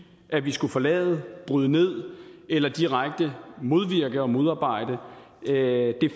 at vi skulle forlade bryde ned eller direkte modvirke og modarbejde det